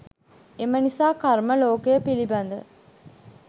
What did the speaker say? එම නිසා කර්ම ලෝකය පිළිබඳ